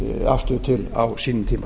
afstöðu til á sínum tíma